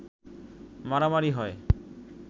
মারামারি হয়